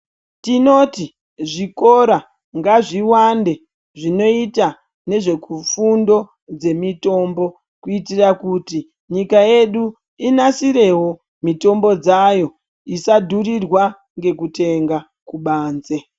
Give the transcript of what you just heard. Tinoti zvikora ngazviwande zvinoita nezvekufundo dzemitombo kuitira kuti nyika yedu inasirewo mitombo dzayo isadhurirwa ngekutenga kubanze.